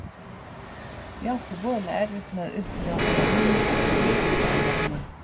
Ég átti voðalega erfitt með að upplifa hann á ný í einhverri annarri mynd.